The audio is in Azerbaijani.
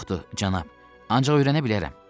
Yoxdur, cənab, ancaq öyrənə bilərəm.